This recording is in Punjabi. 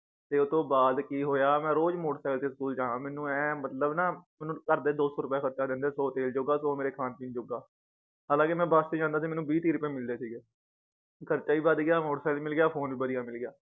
ਤੇ ਉਤੋਂ ਬਾਅਦ ਕੀ ਹੋਇਆ ਮੈ ਰੋਜ ਤੇ ਤੇ ਸਕੂਲ ਜਾਨਾ ਮੈਨੂੰ ਏਂ ਮਤਲਬ ਨਾ ਮੈਨੂੰ ਘਰਦੇ ਦੋ ਸੌ ਰੁਪਏ ਖਰਚਾ ਦਿੰਦੇ ਸੌ ਤੇਲ ਜੋਗਾ ਸੌ ਮੇਰੇ ਖਾਨ ਪੀਣ ਜੋਗਾ ਹਾਲਾਂਕਿ ਮੈ ਬਸ ਚ ਜਾਂਦਾ ਸੀ ਮੈਨੂੰ ਬੀ ਤੀਹ ਰੁਪਏ ਮਿਲਦੇ ਸੀਗੇ ਖਰਚਾ ਵੀ ਬੱਧ ਗਯਾ ਤੇ ਵੀ ਮਿਲਗਯਾ phone ਵੀ ਬਧਿਆ ਮਿਲਗਯਾ